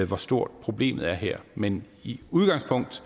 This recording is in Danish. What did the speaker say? hvor stort problemet er her men i udgangspunktet